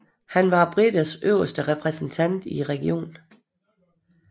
Han var briternes øverste repræsentant i regionen